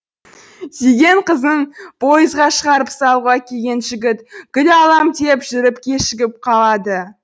сүйген қызын пойызға шығарып салуға келген жігіт гүл алам деп жүріп кешігіп қалады